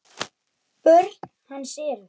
Börn hans eru